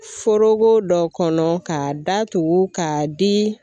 Forogo dɔ kɔnɔ k'a datugu k'a di